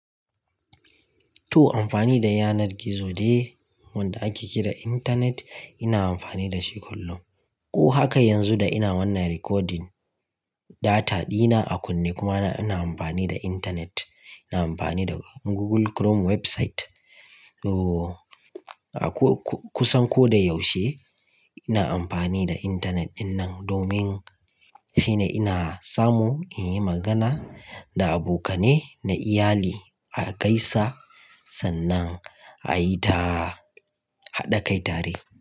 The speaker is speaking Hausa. To amfani da yanar gizo day wanda ake kira Intanet ina amfani da shi kullum. Ko haka yanzu da ina wannan recording data dina a kunne kuma ina amfani da Intanet. Ina amfani da Google Chrome website. Oh kusan ko da yaushe ina amfani da Intanet dinnan domin shine ina samu in yi magana da abokane na iyali a gaisa sannan a yi ta haɗa kai tare.